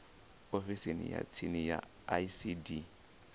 ofisini ya tsini ya icd